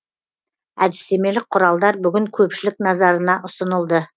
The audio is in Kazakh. әдістемелік құралдар бүгін көпшілік назарына ұсынылды